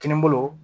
Kininbolo